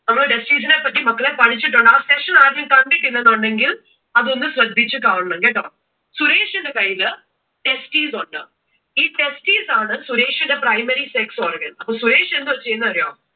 നമ്മൾ Testis നെ പറ്റി മക്കളെ പഠിച്ചിട്ടുണ്ട്. ആ session ആരെങ്കിലും കണ്ടിട്ടില്ല എന്നുണ്ടെങ്കിൽ അതൊന്നു ശ്രദ്ധിച്ചു കാണണം കേട്ടോ. സുരേഷിന്റെ കയ്യിൽ testis ഉണ്ട്. ഈ testis ആണ് സുരേഷിന്റെ primary sex organ. അപ്പോ സുരേഷ് എന്തുവാ ചെയ്യുന്നേ എന്ന് അറിയുവോ?